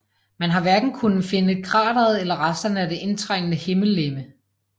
Man har hverken kunnet finde krateret eller resterne af det indtrængende himmellegeme